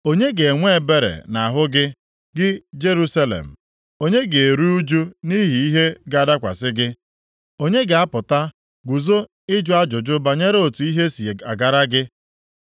“Onye ga-enwe ebere nʼahụ gị, gị Jerusalem? Onye ga-eru ụjụ nʼihi ihe ga-adakwasị gị? Onye ga-apụta guzo ịjụ ajụjụ banyere otu ihe si agara gị?